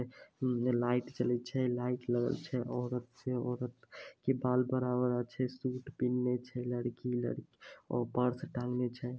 उने लाइट जले छै लाइट लगल छै औरत से औरत के बाल बड़ा-बड़ा छै सूट पिन्हा छै लड़की-लड़की और पर्स टांगला छै।